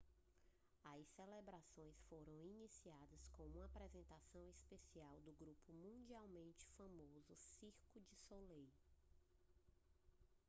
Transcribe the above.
as celebrações foram iniciadas com uma apresentação especial do grupo mundialmente famoso cirque du soleil